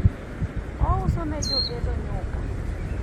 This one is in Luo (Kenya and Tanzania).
ouso ne jogedo nyuka